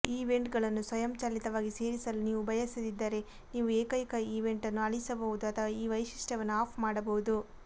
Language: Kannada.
ಈವೆಂಟ್ಗಳನ್ನು ಸ್ವಯಂಚಾಲಿತವಾಗಿ ಸೇರಿಸಲು ನೀವು ಬಯಸದಿದ್ದರೆ ನೀವು ಏಕೈಕ ಈವೆಂಟ್ ಅನ್ನು ಅಳಿಸಬಹುದು ಅಥವಾ ಈ ವೈಶಿಷ್ಟ್ಯವನ್ನು ಆಫ್ ಮಾಡಬಹುದು